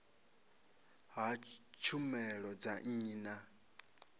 ha tshumelo dza nnyi na